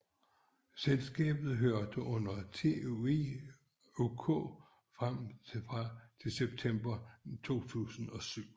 Selskabet hørte under TUI UK frem til september 2007